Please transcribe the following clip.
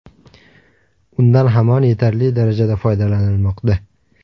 Undan hamon yetarli darajada foydalanilmoqda.